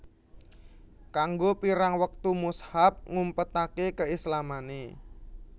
Kanggo pirang wektu Mushab ngumpetake keislamane